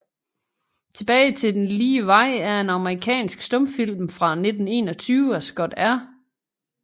Tilbage til den lige Vej er en amerikansk stumfilm fra 1921 af Scott R